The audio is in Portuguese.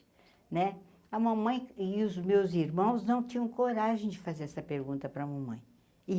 Né a mamãe e os meus irmãos não tinham coragem de fazer essa pergunta para a mamãe.